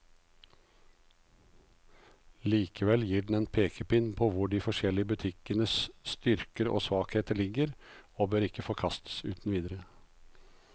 Likevel gir den en pekepinn på hvor de forskjellige butikkenes styrker og svakheter ligger, og bør ikke forkastes uten videre.